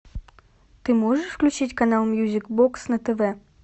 ты можешь включить канал мьюзик бокс на тв